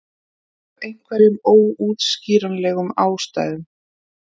Af einhverjum óútskýranlegum ástæðum.